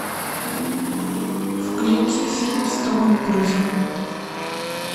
включи фильм с томом крузом